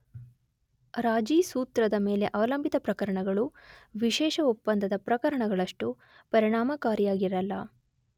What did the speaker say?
ರಾಜಿ ಸೂತ್ರದ ಮೇಲೆ ಅವಲಂಬಿತ ಪ್ರಕರಣಗಳು ವಿಶೇಷ ಒಪ್ಪಂದದ ಪ್ರಕರಣಗಳಷ್ಟು ಪರಿಣಾಮಕಾರಿಯಾಗಿರಲ್ಲ.